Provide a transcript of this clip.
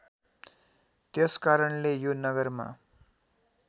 त्यसकारणले यो नगरमा